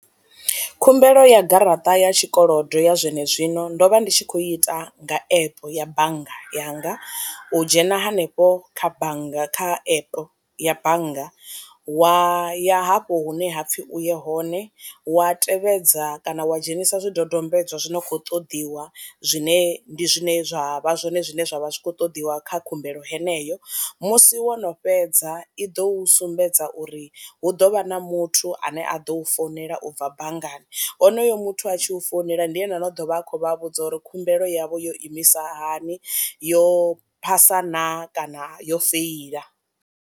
Khumbelo ya garaṱa ya tshikolodo ya zwenezwino ndo vha ndi tshi khou ita nga epe ya bannga yanga, u dzhena hanefho kha bannga kha epe ya bannga wa ya hafho hune hapfi u ye hone wa tevhedza kana wa dzhenisa zwi dodombedzwa zwi no kho ṱoḓiwa zwine ndi zwine zwa vha zwone zwine zwavha zwi kho ṱoḓiwa kha khumbelo heneyo, musi wo no fhedza i do sumbedza uri hu ḓovha na muthu ane a ḓo u founela ubva banngani, honoyo muthu a tshi u founela ndi ene no ḓovha a khou vha vhudza uri khumbelo yavho yo imisa hani yo phasa naa kana yo feila.